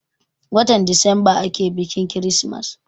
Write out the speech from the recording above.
Watan desemba ake biƙin kirismas.